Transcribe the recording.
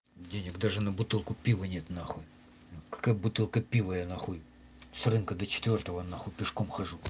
денег даже на бутылку пива нет нахуй какая бутылка пива я нахуй с рынка до четвёртого нахуй пешком хожу